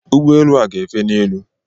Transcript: Ụgbọelu a gá efe n'elu.